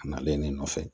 A nalen ne nɔfɛ